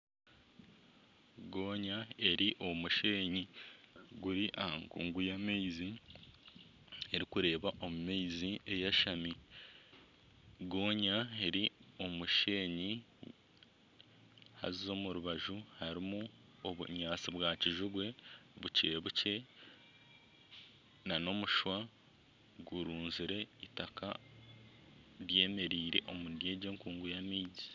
Goonya eri omu musheenyi guri aha nkuungu y'amaizi erikureeba omu maizi eyashami. Goonya eri omu musheenyi haza omu rubaju harimu obunyaatsi bwa kijubwe bukye bukye nana omushwa gurunzire itaka ryemereire omuri egi nkuungu y'amaizi.